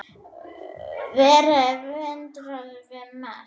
Verið og verndað og vermt.